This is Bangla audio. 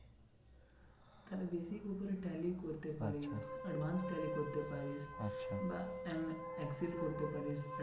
তাহলে basic এর উপরে tally করতে পারিস। আচ্ছা